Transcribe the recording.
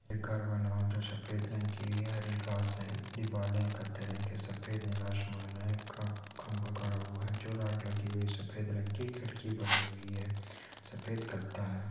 एक घर बना हुआ है जो सफेद रंग का है हरी घास है दिवालें है कत्थई रंग की सफेद नीला आसमान है ख खंबा गड़ा हुआ है लगी हुई है सफेद रंग की खिड़की बनी हुई है सफेद है।